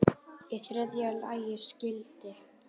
Í þriðja lagi skyldi